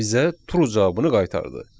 Və bizə true cavabını qaytardı.